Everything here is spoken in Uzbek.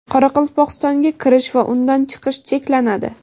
Qoraqalpog‘istonga kirish va undan chiqish cheklanadi.